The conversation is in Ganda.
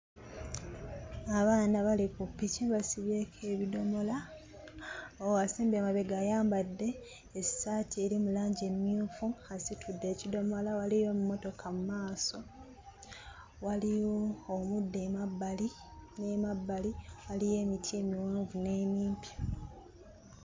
Abaana bali ku piki basibyeko ebidomola. Asembye emabega ayambadde essaati eri mu langi emmyufu, asitudde ekidomola, waliyo emmotoka mu maaso, waliyo omuddo emabbali n'emabbali, waliyo emiti emiwanvu n'emimpi.